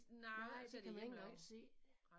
Nej så kan man ikke engang se det